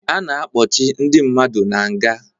A na-akpọchi ndị mmadụ na nga